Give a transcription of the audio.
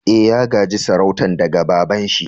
Eh, ya ga'je sarautan daga baba'n shi.